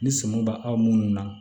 Ni sɔmi b' aw munnu na